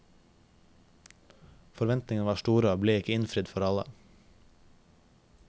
Forventningene var store og ble ikke innfridd for alle.